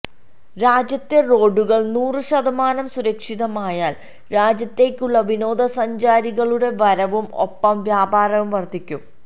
രാജ്യത്തെ റോഡുകള് നൂറു ശതമാനം സുരക്ഷിതമായാല് രാജ്യത്തേക്കുള്ള വിനോദസഞ്ചാരികളുടെ വരവും ഒപ്പം വ്യാപാരവും വര്ധിക്കും